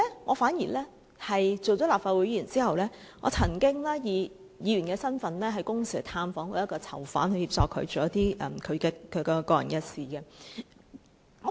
我擔任立法會議員後，亦曾以議員身份探訪1名囚犯，以協助他處理私人事務。